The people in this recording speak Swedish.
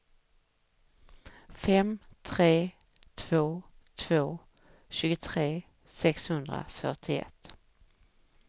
fem tre två två tjugotre sexhundrafyrtioett